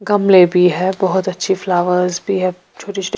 गमलेभी है बहुत अच्छी फ्लोवर्स भी है छोटी-छोटी--